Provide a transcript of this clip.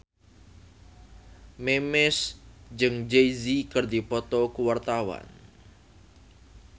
Memes jeung Jay Z keur dipoto ku wartawan